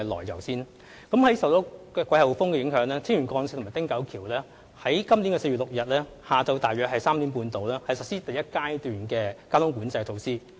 由於受到季候風影響，青嶼幹線及汀九橋在4月6日下午3時半左右實施第一階段的交通管制措施。